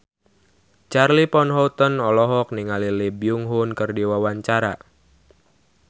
Charly Van Houten olohok ningali Lee Byung Hun keur diwawancara